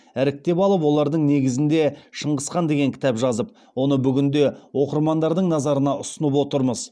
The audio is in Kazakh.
іріктеп алып олардың негізінде шыңғыс хан деген кітап жазып оны бүгінде оқырмандардың назарына ұсынып отырмыз